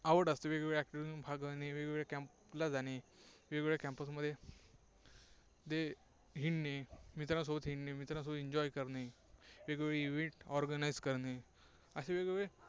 आवड असते, वेगवेगळ्या activity मधून भाग घेणे, camp ला जाणे, वेगवेगळ्या campus मध्ये हिंडणे, मित्रांसोबत हिंडणे, मित्रांसोबत enjoy करणे, वेगवेगळे Event Organise करणे, असे वेगवेगळे